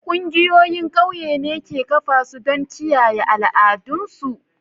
Ƙungiyoyin ƙauye ne ke kafa su don kiyaye al'adun su.